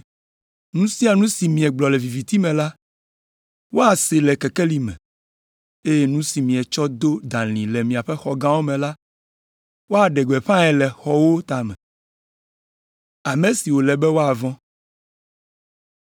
Nu sia nu si miegblɔ le viviti me la, woasee le kekeli me, eye nu si mietsɔ do dalĩ le miaƒe xɔgãwo me la, woaɖe gbeƒãe le xɔwo tame.”